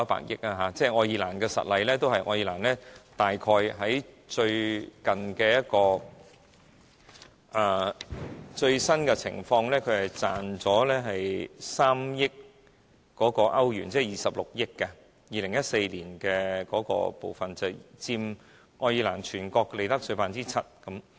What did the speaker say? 以愛爾蘭為實例，最新情況是賺了3億歐元，即26億港元 ，2014 年那部分已佔愛爾蘭全國利得稅 7%。